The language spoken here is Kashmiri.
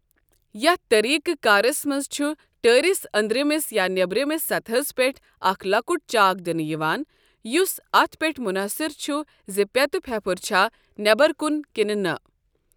یَتھ طٔریٖقہِ کارس منٛز چُھ ٹٲرِس أنٛدرِمِس یا نیٚبرِمِس سطحس پیٚٹھ اَکھ لۄکُٹ چاک دِنہٕ یِوان، یُس اَتھ پیٚٹھ مُنحصر چُھ زِ پٮ۪تہٕ پھیٚپُھر چھا نیبر کُن کِنہٕ نہ۔